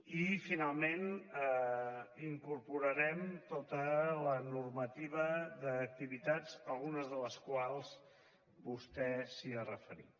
i finalment hi incorporarem tota la normativa d’activitats a algunes de les quals vostè s’ha referit